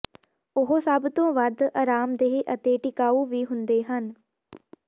ਉਹ ਸਭ ਤੋਂ ਵੱਧ ਅਰਾਮਦੇਹ ਅਤੇ ਟਿਕਾਊ ਵੀ ਹੁੰਦੇ ਹਨ